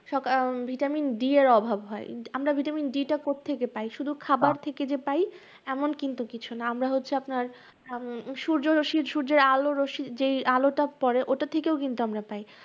আহ vitamin D এর অভাব হয়। আমরা vitamin D টা কোত্থেকে পাই? শুধু খাবার থেকে যে পাই এমন কিন্তু কিছু না, আমরা হচ্ছে আপনার উম সূর্যরশ্মি, সূর্যের আলোরস্মির যেই আলোটা পড়ে ওটা থেকেও কিন্তু আমরা পাই।